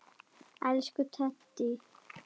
Elsku Teddi.